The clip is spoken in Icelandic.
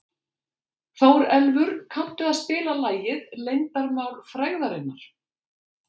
Þórelfur, kanntu að spila lagið „Leyndarmál frægðarinnar“?